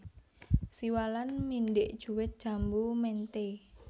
Siwalan Mindhik Juwet Jambu Ménté